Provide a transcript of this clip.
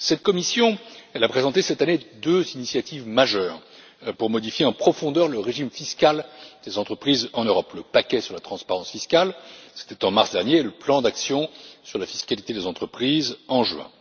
Cette Commission a présenté cette année deux initiatives majeures pour modifier en profondeur le régime fiscal des entreprises en Europe le paquet sur la transparence fiscale c'était en mars dernier et le plan d'action sur la fiscalité des entreprises, en juin.